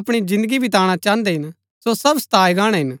अपणी जिन्दगी विताणा चाहन्दै हिन सो सब सताऐ गाणै हिन